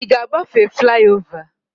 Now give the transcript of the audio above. Ị ga agbafe fliova?